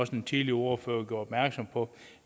den tidligere ordfører gjorde opmærksom på